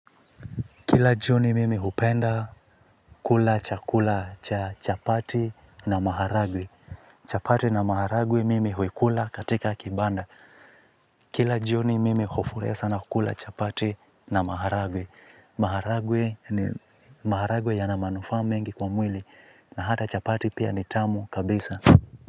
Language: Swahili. Kila jioni mimi hupenda kula cha kula cha chapati na maharagwe. Chapati na maharagwe mimi huikula katika kibanda. Kila jioni mimi hufurahia sana kula chapati na maharagwe. Maharagwe ni maharagwe yanamanufa mingi kwa mwili. Na hata chapati pia nitamu kabisa.